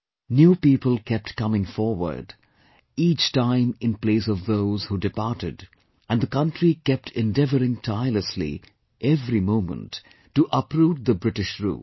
New people kept coming forward each time in place of those who departed and the country kept on every moment endeavouring tirelessly to uproot the British Rule